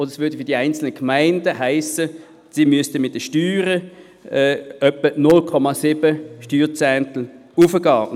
Dies würde für die einzelnen Gemeinden heissen, dass sie die Steuern um etwa 0,7 Steuerzehntel erhöhen müssten.